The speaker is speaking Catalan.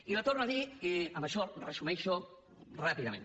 i li torno a dir i amb això resumeixo ràpidament